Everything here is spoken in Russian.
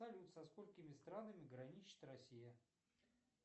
салют со сколькими странами граничит россия